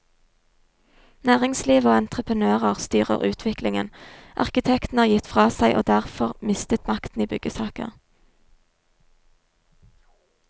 Næringslivet og entreprenører styrer utviklingen, arkitektene har gitt fra seg og derfor mistet makten i byggesaker.